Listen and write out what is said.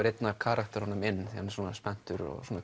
einn af karakterunum inn hann er spenntur og svona